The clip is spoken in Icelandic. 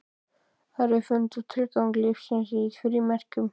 Aðrir fundu tilgang lífsins í frímerkjum.